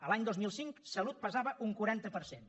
l’any dos mil cinc salut pesava un quaranta per cent